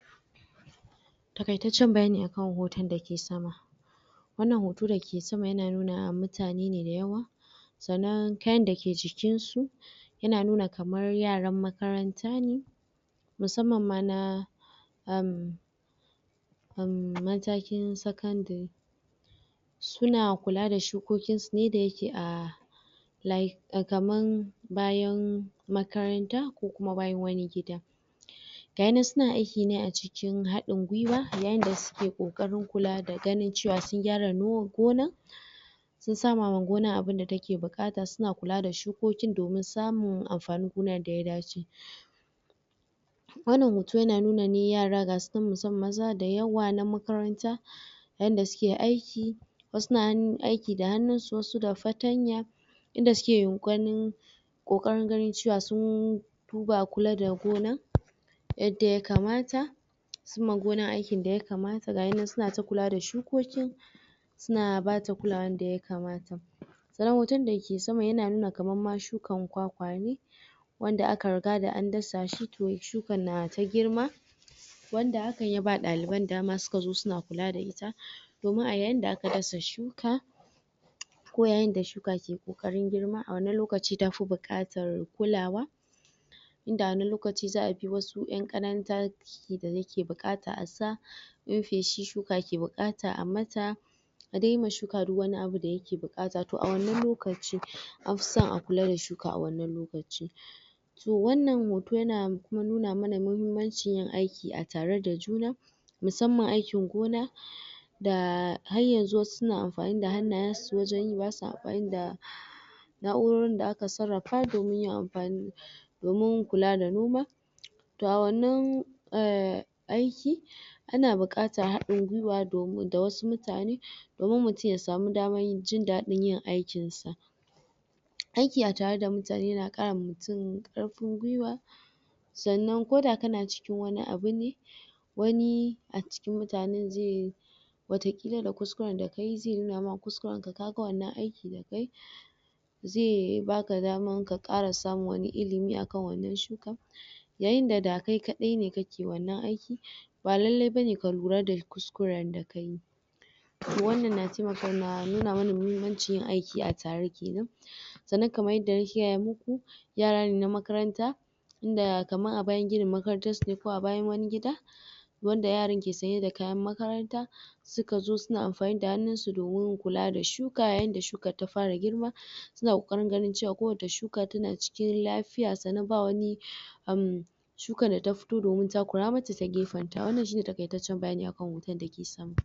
takaitacen bayani akan hoton da yake sama wannan hoto da ke sama yana nuna mutane ne da yawa sannan kayan da ke jikin su yana nuna kamar yaran makaranta ne musamman ma na um um matakin secondry su na kula da shukoki su ne da yake a like kaman bayan makaranta ko kuma bayan wani gida ga inan suna aiki a ciki cikin hadin gwiwa yayin da suke kokarin kula da ganin cewa sun gyara gona sun sa ma gona abun da ta ke bukata su na kula da shukokin domin samun amfanin gonan yanda ya dace wannan hoto ya na nuna ne yara gasu nan musamman maza da yawa na makaranta yanda suke aiki wasu na aiki da hannun su wasu da fatanya in da suke ganin kokarin ganin cewa sun duba kula da gona yadda ya kamata sun ma gona aiki da yakamata ga inan suna ta kula da shukokin suna bata kulawan da ya kamata sannanhotonda ke sama yana nuna kaman ma shukan kwakwa wanda aka riga da an dasa shi toh shukan na ta girma wanda haka ya ba daliban dama su ka zo su na kula da ita domin a yayin da aka dasa shuka ko yayin da shuka ke kokarin girma a wannan lokaci ta fi bukatar kulawa in da wani lokaci za'a bi wasu 'yan kananta? da ya ke bukata a sa? shi shuka ke bukata a mata a dai yima shuka duk wani abu da yake bukata toh a wannan lokacin an fi son a kula da shukaa wannan lokaci so wannan hoton yana kuma nuna mana muhimmancin yin aiki a tare da juna musamman aikin gona da har ya zo suna amfani da hannayen su wajen yi basuwa amfani da naurorin da aka sarrafa domin yin amfani domin kula da noma toh a wannan um aiki ana bukatan hadin gwiwa da wasu mutane domin mutum ya samu daman jin dadin yin aikin ta aiki a tare da mutane na ma mutum karfin gwiwa sannan ko da ka na cikin wani abu ne wani a cikin mutananen zai wata kila da kuskuren da ka yi zai nuna ma kuskuren ka ga wannan aikin da kai zai baka dama ka kara samun wani ilimi a kan wannan shuka yayin da da kai kadai ne ke wannan aikin ba lalai bane ka lura da kuskuren da kayi toh wannan na taimaka na nuna mana muhimmancin aiki a tare kenan sannan kamar yadda na gaya muku yaran ne na makaranta inda kamar a bayan ginin makarantan su ne ko a bayan gida wanda yaran ke saye da kayan makaranta su ka zo suka amfani da hannun su? kula da shuka a yan da hukan ta fara girma su na kokarin ganin cewa kowace shuka ta na cikin lafiya sannan ba wani um shuka da ta fito domin takura mata ta gefen ta wannan shi ne takaitacen bayani akan hoton dake sama